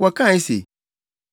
Wɔkae se,